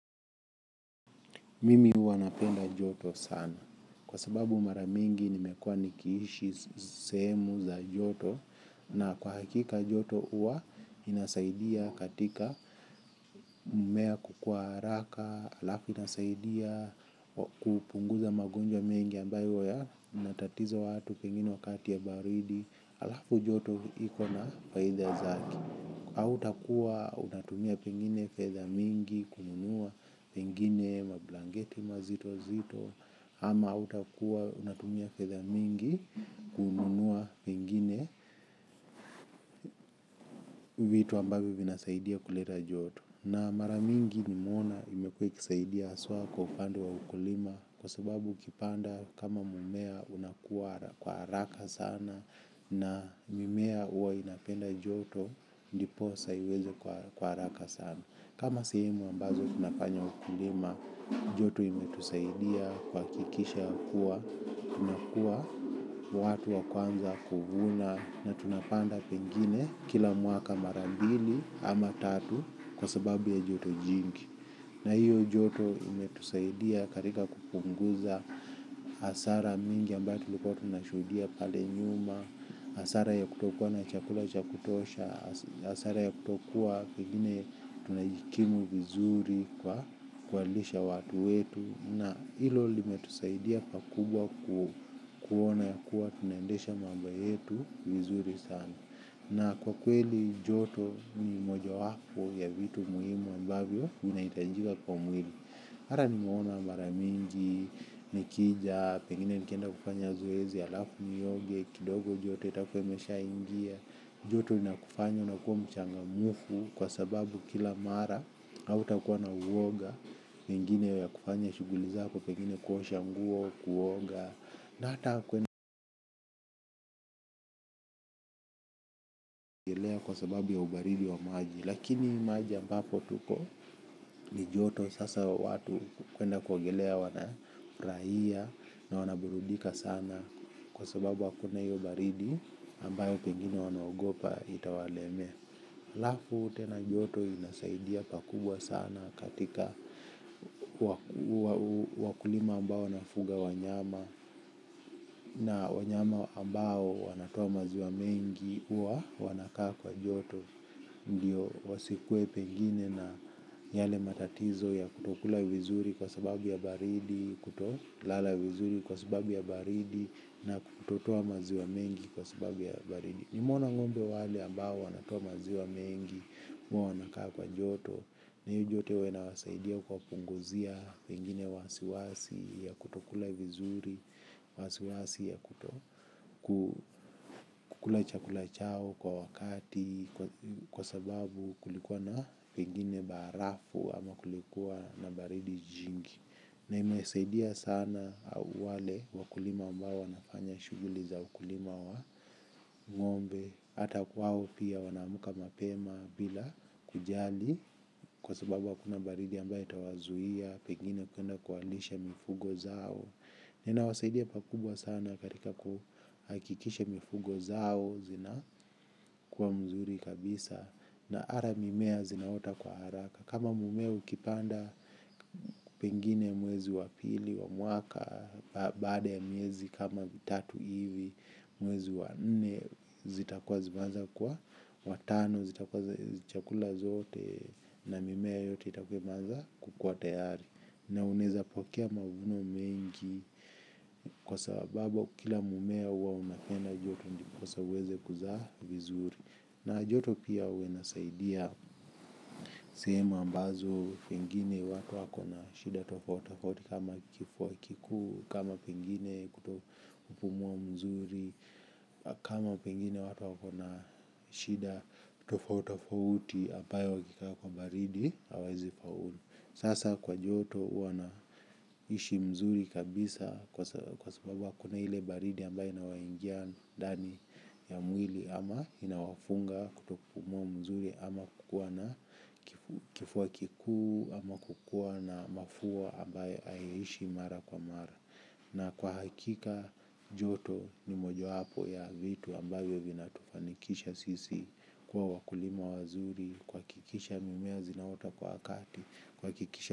Mimi huwa napenda joto sana kwa sababu mara mingi nimekuwa nikiishi sehemu za joto na kwa hakika joto huwa inasaidia katika mimea kukua haraka alafu inasaidia kupunguza magonjwa mengi ambayo huwa yanatatiza watu pengine wakati ya baridi halafu joto liko na faida zake. Hautakuwa unatumia pengine fedha mingi kununua pengine mablanketi mazito mazito ama hautakuwa unatumia fedha mingi kununua pengine vitu ambavyo vinasaidia kuleta joto. Na mara mingi nimeona imekua ikisaidia haswa kwa upande wa ukulima kwa sababu ukipanda kama mmea unakua kwa haraka sana na mimea huwa inapenda joto ndiposa iweze kwa haraka sana. Kama sehemu ambazo tunafanya ukulima, joto imetusaidia kuhakikisha ya kuwa, tunakua watu wa kwanza kuvuna na tunapanda pengine kila mwaka mara mbili ama tatu kwa sababu ya joto jingi. Na hiyo joto imetusaidia katika kupunguza hasara mingi ambayo tulikuwa tunashuhudia pale nyuma, hasara ya kutokuwa na chakula cha kutosha, hasara ya kutokuwa pengine tunajikimu vizuri kwa kuwalisha watu wetu. Na hilo limetusaidia pakubwa kuona yakua tunaendesha mambo yetu vizuri sana. Na kwa kweli joto ni moja wapo ya vitu muhimu ambavyo vinahitajika kwa mwili. Hata nimeona mara mingi, nikija, pengine nikienda kufanya zoezi, alafu nioge, kidogo joto itakuwa imeshaingia. Joto inakufanya unakuwa mchangamufu kwa sababu kila mara hautakuwa na uoga pengine ya kufanya shughuli zako pengine kuosha nguo kuoga na hata kwenda kuogelea kwa sababu ya ubaridi wa maji. Lakini maji ambapo tuko ni joto sasa watu kwenda kuogelea wana furahia. Na wanaburudika sana kwa sababu hakuna hiyo baridi ambayo pengine wanaogopa itawalemea halafu tena joto inasaidia pakubwa sana katika wakulima ambao wanafuga wanyama na wanyama ambao wanatoa maziwa mengi huwa wanakaa kwa joto. Ndio wasikue pengine na yale matatizo ya kutokula vizuri kwa sababu ya baridi, kutolala vizuri kwa sababu ya baridi na kutotoa maziwa mengi kwa sababu ya baridi. Nimeona ngombe wale ambao wanatoa maziwa mengi, huwa wanakaa kwa joto. Na hiyo joto huwa inawasaidia kuwapunguzia pengine wasiwasi ya kutokula vizuri wasiwasi ya kutokula chakula chao kwa wakati kwa sababu kulikuwa na pengine barafu ama kulikuwa na baridi jingi. Na imesaidia sana wale wakulima ambao wanafanya shughuli za ukulima wa ngombe. Hata kwao pia wana amuka mapema bila kujali kwa sababu hakuna baridi ambayo itawazuia. Pengine kwenda kuwalisha mifugo zao ina wasaidia pakubwa sana katika kuhakikisha mifugo zao zina kuwa mzuri kabisa. Na hata mimea zinaota kwa haraka. Kama mmea ukipanda pengine mwezi wa pili wa mwaka baada ya mwezi kama tatu hivi mwezi wa nne zitakuwa zimeanza kuwa watano zitakua chakula zote na mimea yote itakuwa imeanza kukuwa tayari. Na unaeza pokea mavuno mengi kwa sababu kila mmea huwa unapenda joto ndiposa uweze kuzaa vizuri. Na joto pia huwa inasaidia sehemu ambazo pengine watu wako na shida tofauti tofauti kama kifua kikuu kama pengine kutopumua mzuri. Kama pengine watu wako na shida tofauti tofauti ambayo wakikaa kwa baridi hawawezi faulu. Sasa kwa joto wana ishi mzuri kabisa. Kwa sababu hakuna ile baridi ambayo inawaingia ndani ya mwili ama inawafunga kutopumua mzuri ama kukua na kifua kikuu ama kukua na mafua ambayo haiishi mara kwa mara. Na kwa hakika joto ni moja wapo ya vitu ambavyo vina tufanikisha sisi kuwa wakulima wazuri, kuhakikisha mimea zinaota kwa wakati.